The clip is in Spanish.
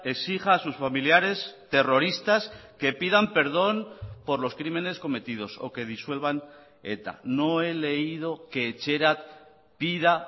exija a sus familiares terroristas que pidan perdón por los crímenes cometidos o que disuelvan eta no he leído que etxerat pida